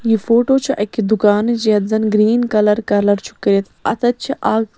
یہِ فوٹوچھ اَکہِ دُکانٕچ یتھ زن گریٖن کلر کلر .چُھ کٔرِتھ اَتٮ۪تھ چھ اکھ